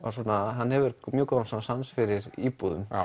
hann hefur mjög góðan sans fyrir íbúðum